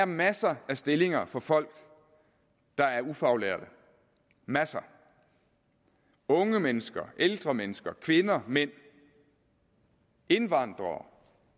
masser af stillinger for folk der er ufaglærte masser unge mennesker ældre mennesker kvinder mænd indvandrere